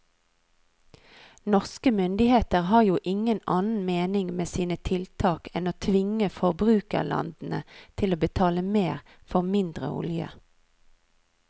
Norske myndigheter har jo ingen annen mening med sine tiltak enn å tvinge forbrukerlandene til å betale mer for mindre olje.